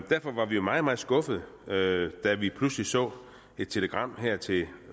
derfor var vi meget meget skuffede da da vi pludselig så et telegram her til